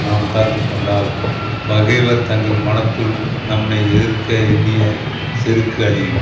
நாம் காத்து கொண்டால் பகைவர் தங்கள் மனத்துள் நம்மை எதிர்க்க எண்ணிய செருக்கு அழியும்